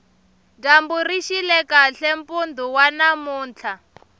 dyambu rixile kahle mpundu wa namuntlha